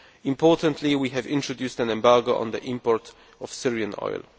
Importantly, we have introduced an embargo on the import of Syrian oil.